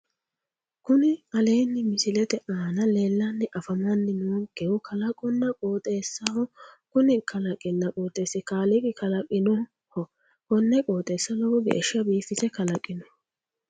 Kuni aleenni misilete aana leellanni afamanni noonkehu kalaqonna qooxeessaho kuni kalaqinna qooxeessi kaaliiqi kalaqinoho konne qooxeessa lowo geeshsha biifise kalaqino